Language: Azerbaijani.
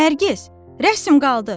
Nərgiz, rəsm qaldı.